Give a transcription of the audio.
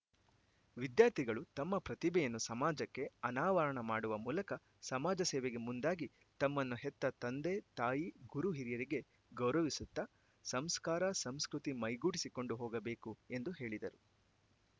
ವಿದ್ಯಾರ್ಥಿಗಳು ತಮ್ಮ ಪ್ರತಿಭೆಯನ್ನು ಸಮಾಜಕ್ಕೆ ಅನಾವರಣ ಮಾಡುವ ಮೂಲಕ ಸಮಾಜ ಸೇವೆಗೆ ಮುಂದಾಗಿ ತಮ್ಮನ್ನು ಹೆತ್ತ ತಂದೆ ತಾಯಿ ಗುರು ಹಿರಿಯರಿಗೆ ಗೌರವಿಸುತ್ತ ಸಂಸ್ಕಾರ ಸಂಸ್ಕೃತಿ ಮೈಗೂಡಿಸಿಕೊಂಡು ಹೋಗಬೇಕು ಎಂದು ಹೇಳಿದರು